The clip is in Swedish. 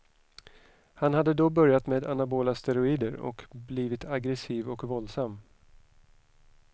Han hade då börjat med anabola steroider och blivit aggressiv och våldsam.